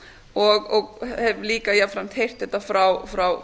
og hef líka jafnframt heyrt þetta frá